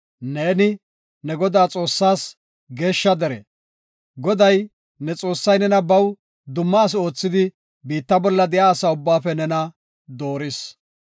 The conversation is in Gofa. Neeni, ne Godaa Xoossaas geeshsha dere. Goday, ne Xoossay nena baw dumma asi oothidi biitta bolla de7iya asa ubbaafe nena dooris.